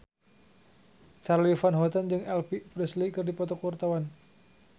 Charly Van Houten jeung Elvis Presley keur dipoto ku wartawan